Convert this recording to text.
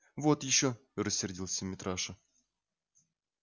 вот ещё рассердился митраша